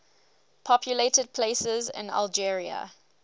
populated places in algeria